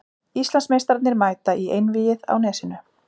Íslandsmeistararnir mæta í Einvígið á Nesinu